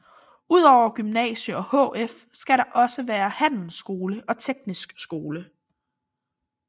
Udover gymnasium og HF skal der også være handelsskole og teknisk skole